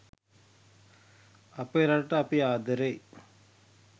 අපේ රටට අපි ආදරෙයි